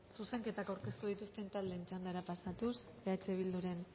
zuzenketak aurkeztu dituzten taldeen txandara pasatuz eh bilduren